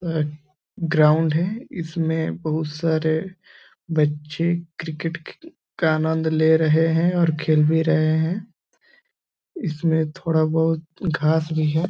ground है इसमें बहोत सारे बच्चे क्रिकेट का आनंद ले रहे है और खेल भी रहे है इसमें थोड़ा बहोत घास भी है |